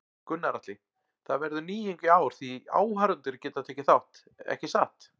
Gunnar Atli: Það verður nýjung í ár því áhorfendur geta tekið þátt, ekki satt?